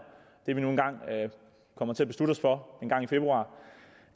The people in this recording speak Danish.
det vi nu engang kommer til at beslutte os for engang i februar